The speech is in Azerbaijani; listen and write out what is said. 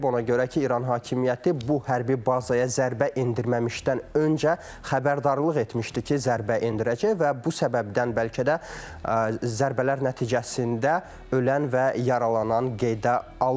Ona görə ki, İran hakimiyyəti bu hərbi bazaya zərbə endirməmişdən öncə xəbərdarlıq etmişdi ki, zərbə endirəcək və bu səbəbdən bəlkə də zərbələr nəticəsində ölən və yaralanan qeydə alınmayıb.